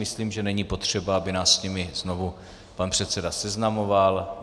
Myslím, že není potřeba, aby nás s nimi znovu pan předseda seznamoval.